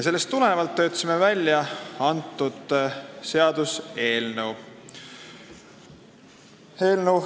Sellest tulenevalt töötasimegi välja selle seaduseelnõu.